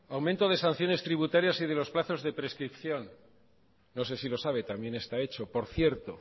aumento de sanciones tributarias y de los plazos de prescripción no sé si lo sabe también está hecho por cierto